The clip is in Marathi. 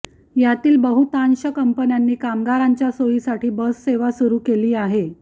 यातील बहुतांश कंपन्यांनी कामगारांच्या सोयीसाठी बस सेवा सुरु केली आहे